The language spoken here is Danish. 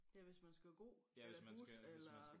Ja hvis man skal gå eller bus eller